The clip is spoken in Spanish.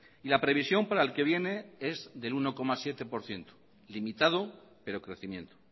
y la previsión para el que viene es del uno coma siete por ciento limitado pero crecimiento